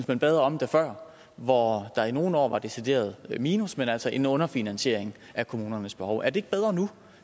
man bedre om det før hvor der i nogle år var decideret minus men altså en underfinansiering af kommunernes behov er det ikke bedre nu